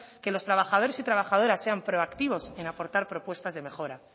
que los trabajadores y trabajadoras sean proactivos en aportar propuestas de mejora